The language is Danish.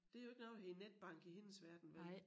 Der jo ikke noget der hedder netbank i hendes verden vel